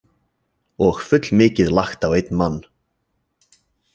Og fullmikið lagt á einn mann.